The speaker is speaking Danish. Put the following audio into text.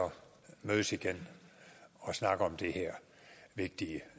mødes igen og snakke om det her vigtige